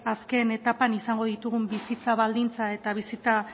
azken etapan izango ditugun bizitza baldintza eta bizitza